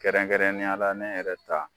Kɛrɛnkɛrɛnneya la ne yɛrɛ ta